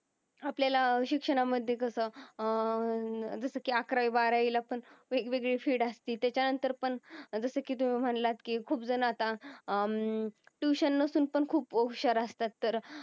आपलेला शिक्षण मध्ये कस अं जस कि अकरावी, बाराहवी ला पण वेग वेगळी फिल्ड अस्ती तेज्या नंतर पण जस कि त्यो म्हंटला कि खूप जन अत्ता अं ट्युशन नसेल तर पण खूप हुशार अस्तात तर